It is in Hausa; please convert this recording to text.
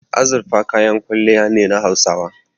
Azurfa kayan kwalliya ne na Hausawa.